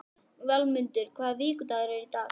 Vilmundur, hvaða vikudagur er í dag?